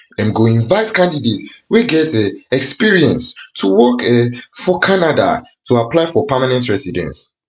dem go invite candidates wey get um experience to work um for canada to apply for permanent residence